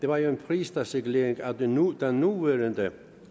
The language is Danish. var jo en pristalsregulering af den nuværende nuværende